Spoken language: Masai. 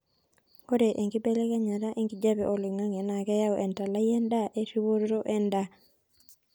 ore enkebelekenya enkijape oloingangi naa keyau entalai endaa oee eripoto endaa